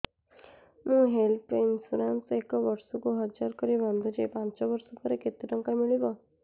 ମୁ health insurance ଏକ ବର୍ଷକୁ ହଜାର କରି ବାନ୍ଧୁଛି ପାଞ୍ଚ ବର୍ଷ ପରେ କେତେ ଟଙ୍କା ମିଳିବ